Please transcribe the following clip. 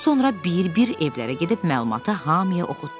Sonra bir-bir evlərə gedib məlumatı hamıya oxutdurdu.